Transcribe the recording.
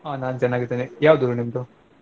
ಹ ನಾನ್ ಚನಾಗ್ದೀನ್ ಯಾವ್ದೂರು ನಿಮ್ದು?